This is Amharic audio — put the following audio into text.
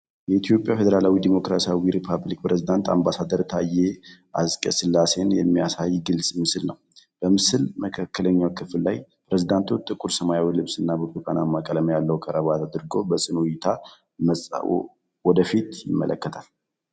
የኢትዮጵያ ፌደራላዊ ዴሞክራሲያዊ ሪፐብሊክ ፕሬዝዳንት አምባሳደር ታዬ አጽቀሥላሴን የሚያሳይ ግልጽ ምስል ነው። በምስሉ መካከለኛ ክፍል ላይ፣ ፕሬዝዳንቱ ጥቁር ሰማያዊ ልብስና ብርቱካናማ ቀለም ያለው ክራባት አድርገው በጽኑ እይታ ወደፊት ይመለከታሉ።